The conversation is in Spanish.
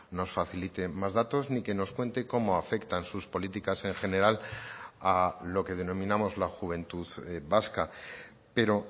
nos facilite más datos ni que nos cuente cómo afectan sus políticas en general a lo que denominamos la juventud vasca pero